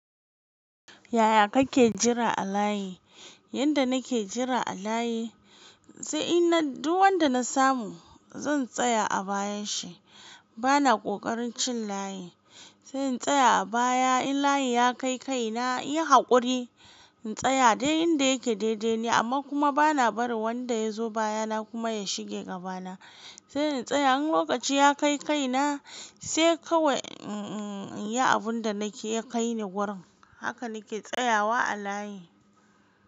Yaya kake jira a layi? Yanda nake jira a layi, sai inna duw wanda na samu zan tsaya a bayan shi. Bana ƙoƙarin cin layi. Sai in tsaya a baya in layi ya kai kai na, inyi haƙuri in tsaya dai inda yake daidai ni amma kuma bana barin wanda ya zo baya na kuma ya shige gabana. Se in tsaya, in lokaci ya kai kai na se kawai, mm yi abun da nake ya kai ni wurin. Haka nake tsayawa a layi.